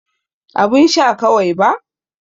Abun sha kawai ba.